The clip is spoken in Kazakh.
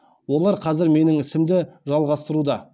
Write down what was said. олар қазір менің ісімді жалғастыруда